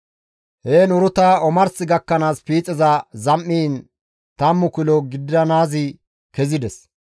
Heen Uruta omars gakkanaas piixeza zam7iin tammu kilo gidanaazi kezides.